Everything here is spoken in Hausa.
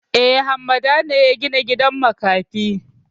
E, Hammada ne ya gina gidan makafi.